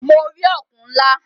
Mo rí ọ̀kùn ńlá.